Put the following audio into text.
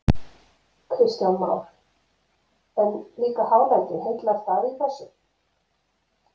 Kristján Már: En líka hálendið, heillar það í þessu?